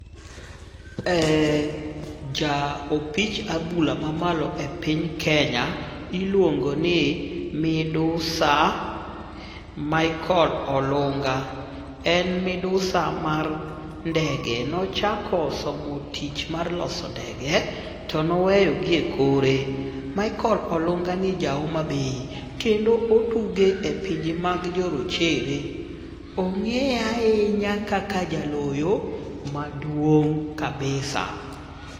Ja opich adhula mamalo e piny Kenya iluongo ni midusa Michael Olunga. En midusa mar ndege. Nochako somo tich mar loso ndege, to noweyo gi ekore. Michael Olungani ja Homabay kendo otugo e pinje mag jorochere. Ong'eye ahinya kaka jaloyo maduong' kabisa.